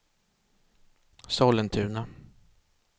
Sollentuna